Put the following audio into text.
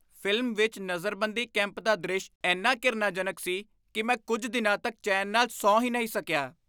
Film ਵਿੱਚ ਨਜ਼ਰਬੰਦੀ camp ਦਾ ਦ੍ਰਿਸ਼ ਇੰਨਾ ਘਿਰਨਾਜਨਕ ਸੀ ਕਿ ਮੈਂ ਕੁੱਝ ਦਿਨਾਂ ਤੱਕ ਚੈਨ ਨਾਲ ਸੌਂ ਹੀ ਨਹੀਂ ਸਕਿਆ।